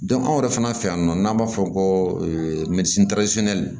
anw yɛrɛ fana fɛ yan nɔ n'an b'a fɔ o ma ko